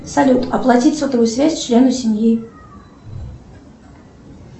салют оплатить сотовую связь члену семьи